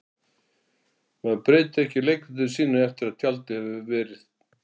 Maður breytir ekki leikritinu sínu eftir að tjaldið hefur ver